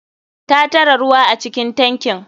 Ta tara ruwa acikin tankin.